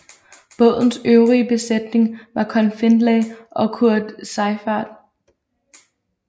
Bådens øvrige besætning var Conn Findlay og Kurt Seiffert